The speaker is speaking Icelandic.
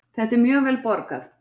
Þetta er mjög vel borgað